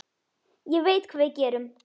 Horfi niður á fætur mína.